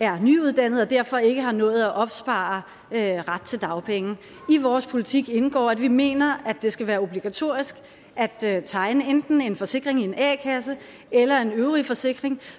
er nyuddannede og derfor ikke har nået at opspare ret til dagpenge i vores politik indgår at vi mener det skal være obligatorisk at tegne enten en forsikring i en a kasse eller en øvrig forsikring